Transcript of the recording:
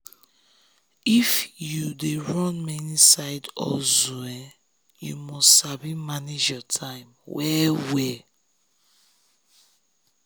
if um you dey run many side um hustles you must sabi manage your um time well-well.